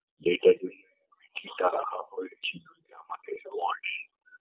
data key কি তাড়া খাওয়া হয়েছি